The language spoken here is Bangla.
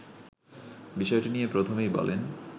বিষয়টি নিয়ে প্রথমেই বলেন